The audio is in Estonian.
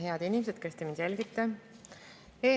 Head inimesed, kes te meid jälgite!